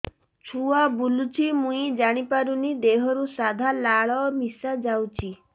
ଛୁଆ ବୁଲୁଚି ମୁଇ ଜାଣିପାରୁନି ଦେହରୁ ସାଧା ଲାଳ ମିଶା ଯାଉଚି